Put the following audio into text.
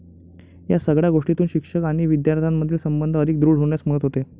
या सगळ्या गोष्टीतून शिक्षक आणि विद्यार्थ्यामधील संबंध अधिक दृढ होण्यास मदत होते.